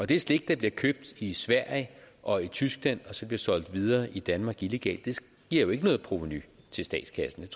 det slik der bliver købt i sverige og i tyskland og som bliver solgt videre i danmark illegalt giver jo ikke noget provenu til statskassen